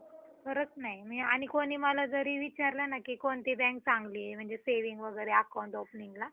खरंच नाही. मी आणि कोणी मला जरी विचारलं ना की कोणती bank चांगली आहे म्हणजे saving वगैरे account openingला